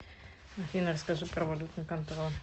афина расскажи про валютный контроль